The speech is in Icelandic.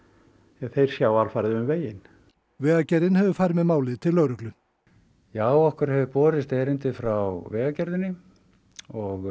því þeir sjá alfarið um veginn vegagerðin hefur farið með málið til lögreglu já okkur hefur borist erindi frá Vegagerðinni og